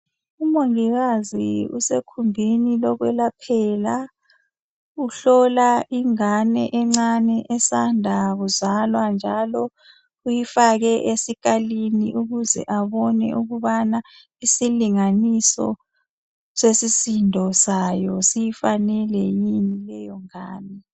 Umongikazi usekhumbini lokwelaphela uhlola ingane encane esanda kuzalwa njalo uyifake esikalini ukuze abone ukubana isilinganiso sesisindo sayo siyifanele yini leyongane.